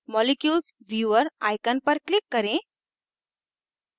molecules viewer icon पर click करें